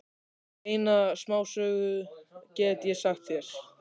Eina smásögu get ég sagt þér.